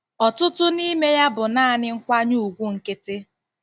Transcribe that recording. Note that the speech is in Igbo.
"Ọtụtụ n'ime ya bụ naanị nkwanye ùgwù nkịtị."